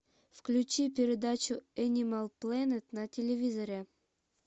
включи передачу энимал плэнет на телевизоре